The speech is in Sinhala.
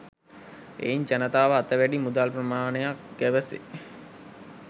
එයින් ජනතාව අත වැඩි මුදල් ප්‍රමාණයක් ගැවසේ.